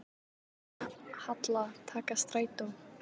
Halla: Taka strætó.